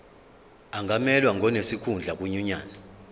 angamelwa ngonesikhundla kwinyunyane